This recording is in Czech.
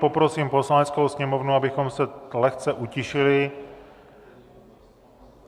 Poprosím Poslaneckou sněmovnu, abychom se lehce utišili.